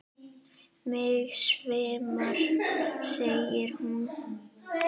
Mig svimar, sagði hún.